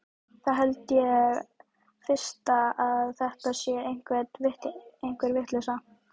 Þá held ég fyrst að þetta sé einhver vitleysa.